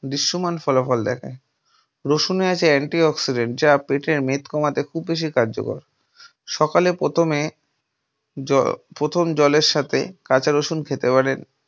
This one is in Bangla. দৃশ্যমান ফলাফল দেখায়। রসুনের আছে anti oxidant যা পেটের মেদ কমাতে খুব বেশি কার্যকরী। সকালে ‌প্রথমে প্রথম জলের সাথে কাঁচা রসুন খেতে পারেন।